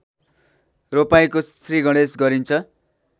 रोपाइँको श्रीगणेश गरिन्छ